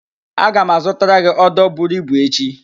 Aga m azụtara gị ódō buru ibu echi